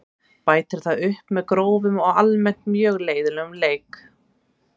Bætir það upp með grófum og almennt mjög leiðinlegum leik.